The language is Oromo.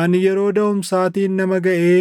Ani yeroo daʼumsaatiin nama gaʼee